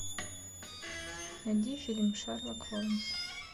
найди фильм шерлок холмс